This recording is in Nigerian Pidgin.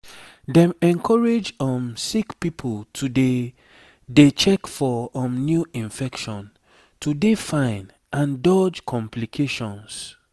dem encourage um sick pipo to dey dey check for um new infection to dey fine and dodge complications